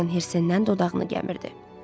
Dorian hərsindən dodağını gəmirirdi.